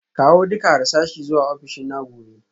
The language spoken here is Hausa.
Kawo duka harsashi zuwa ofishina gobe